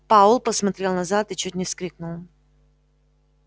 пауэлл посмотрел назад и чуть не вскрикнул